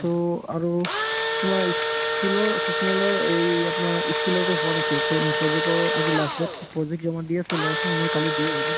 to আৰু তোমাৰ ই skill ৰ sessional ৰ এই আপোনাৰ ই skill ৰ তো হোৱা নাছিল to project ৰ আজি last date to project জমা দি আছে ল'ৰাখিনি মই কালি দি আহিলো